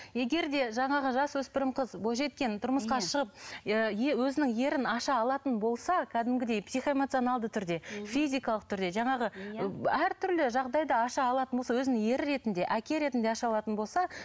егер де жаңағы жасөспірім қыз бойжеткен тұрмысқа шығып өзінің ерін аша алатын болса кәдімгідей психоэмоционалды түрде физикалық түрде жаңағы әртүрлі жағдайда аша алатын болса өзінің ері ретінде әке ретінде аша алатын болса